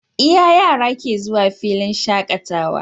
Iya yara ke zuwa filin shakatawa